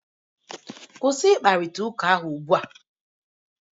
Kwụsị ịkparịta ụka ahụ ugbu a!